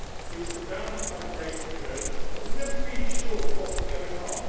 He was surrounded by the great and the good, but was never really sure of what was going on.